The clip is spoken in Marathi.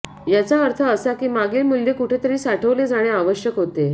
याचा अर्थ असा की मागील मूल्य कुठेतरी साठवले जाणे आवश्यक होते